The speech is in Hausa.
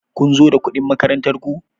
Kun zo da kuɗin makarantar ku?